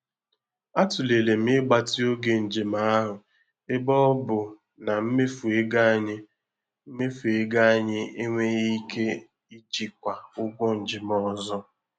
Atụlere m igbatị oge njem ahụ ebe ọ bụ na mmefu ego anyị mmefu ego anyị enweghị ike ijikwa ụgwọ njem ọzọ.